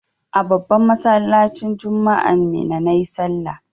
A babban masallacin juma'an Minna na yi sallah.